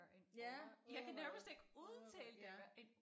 En odder odder odder ja